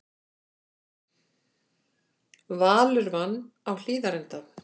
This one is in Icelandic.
Valur vann á Hlíðarenda